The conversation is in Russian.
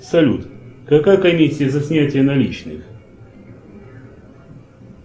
салют какая комиссия за снятие наличных